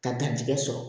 Ka garijɛgɛ sɔrɔ